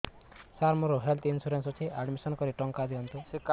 ସାର ମୋର health insurance ଅଛି admission କରି ଟଙ୍କା ଦିଅନ୍ତୁ